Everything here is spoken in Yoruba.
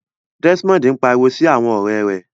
Desmond n pariwo si awọn ọrẹ rẹ